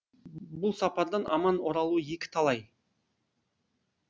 бұл сапардан аман оралуы екі талай